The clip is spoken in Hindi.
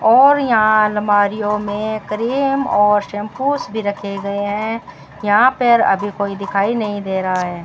और यहां अलमारीयो में क्रीम और शैंपूस भी रखे गए हैं यहां पर अभी कोई दिखाई नहीं दे रहा है।